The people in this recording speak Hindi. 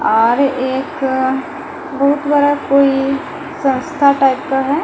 घर एक बहुत बड़ा कोई संस्था टाइप का है।